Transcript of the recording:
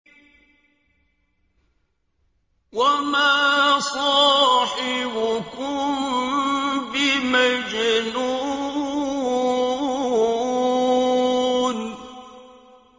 وَمَا صَاحِبُكُم بِمَجْنُونٍ